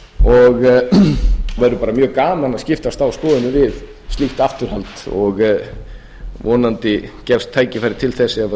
og væri bara mjög gaman að skiptast á skoðunum við slíkt afturhald og vonandi gefst tækifæri til þess ef